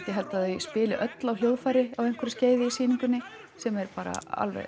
ég held þau spili öll á hljóðfæri á einhverju skeiði í sýningunni sem er bara